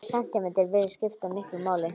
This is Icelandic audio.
Hver sentímetri virðist skipta miklu máli.